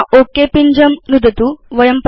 अधुना ओक पिञ्जं नुदतु